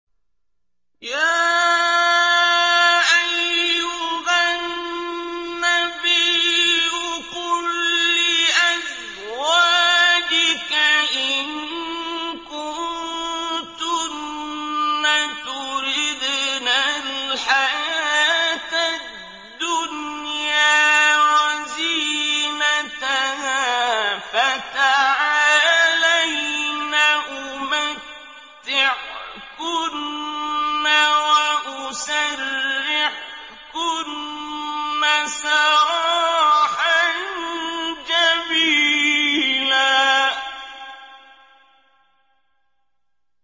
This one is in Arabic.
يَا أَيُّهَا النَّبِيُّ قُل لِّأَزْوَاجِكَ إِن كُنتُنَّ تُرِدْنَ الْحَيَاةَ الدُّنْيَا وَزِينَتَهَا فَتَعَالَيْنَ أُمَتِّعْكُنَّ وَأُسَرِّحْكُنَّ سَرَاحًا جَمِيلًا